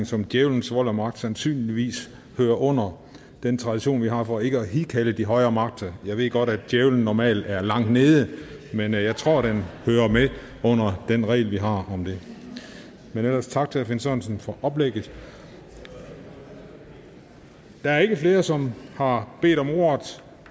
som djævelens vold og magt sandsynligvis hører under den tradition vi har for ikke at hidkalde de højere magter jeg ved godt at djævelen normalt er langt nede men jeg tror det hører med under den regel vi har om det men ellers tak til herre finn sørensen for oplægget da der ikke er flere som har bedt om ordet